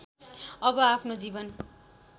अब आफ्नो जीवन